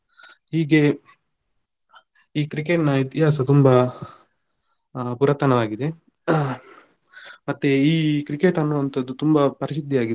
ಹೀಗೆ ಈ Cricket ನ ಇತಿಹಾಸ ತುಂಬಾ ಆ ಪುರಾತನವಾಗಿದೆ ಮತ್ತೆ ಈ Cricket ಅನ್ನುವಂತದ್ದು ತುಂಬಾ ಪ್ರಸಿದ್ದಿಯಾಗಿದೆ.